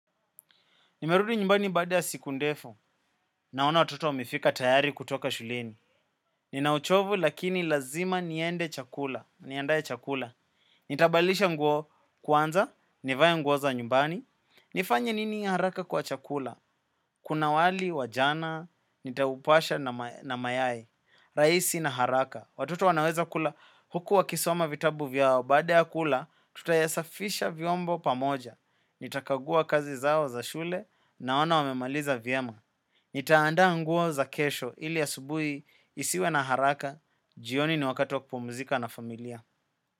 Nimerudi nyumbani baada ya siku ndefu. Naona watoto wamefika tayari kutoka shuleni. Nina uchovu lakini lazima niende chakula. Niandae chakula. Nitabadilisha nguo kwanza. Nivae nguo za nyumbani. Nifanye nini ya haraka kwa chakula. Kuna wali, wajana. Nitaupasha na mayai. Raisi na haraka. Watoto wanaweza kula huku wakisoma vitabu vyao. Baada ya kula, tutayasafisha vyombo pamoja. Nitakagua kazi zao za shule naona wamemaliza vyema. Nitaandaa nguo za kesho ili asubuhi isiwe na haraka. Jioni ni wakati wa kupumzika na familia.